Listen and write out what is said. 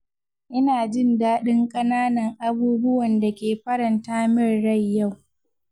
Ina jin dadin ƙananan abubuwan da ke faranta min rai yau.